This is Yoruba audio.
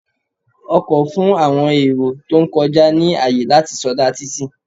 Ọkọ̀ fún àwọn èrò tó ń kọjá ní àyè láti sọdá títì.